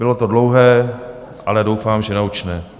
Bylo to dlouhé, ale doufám, že naučné.